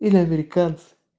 или американцы